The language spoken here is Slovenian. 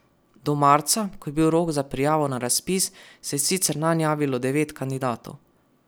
Do marca, ko je bil rok za prijavo na razpis, se je sicer nanj javilo devet kandidatov.